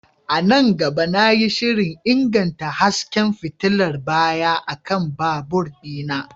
A nan gaba, na yi shirin inganta hasken fitilar baya akan babur ɗina.